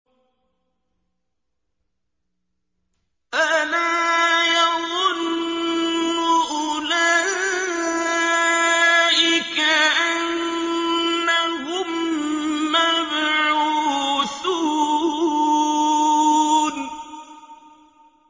أَلَا يَظُنُّ أُولَٰئِكَ أَنَّهُم مَّبْعُوثُونَ